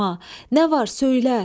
Nə var, söylə!